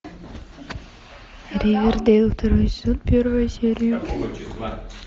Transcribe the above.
ривердейл второй сезон первая серия